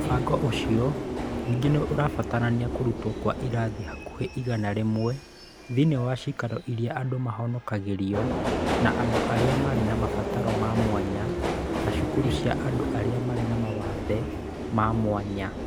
Mũbango ũcio ningĩ nĩ ũrabatarania kũrutwo kwa irathi hakuhĩ igana rĩmwe thĩinĩ wa ciikaro irĩa andũ mahonokagĩrio, na andũ arĩa marĩ na mabataro ma mwanya na cukuru cia andũ arĩa marĩ na mawathe ma mwanya.